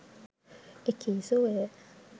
එකී සුවය